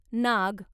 नाग